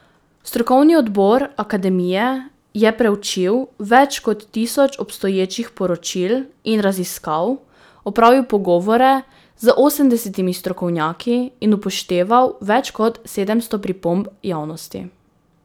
Strokovni odbor akademije je preučil več kot tisoč obstoječih poročil in raziskav, opravil pogovore z osemdesetimi strokovnjaki in upošteval več kot sedemsto pripomb javnosti.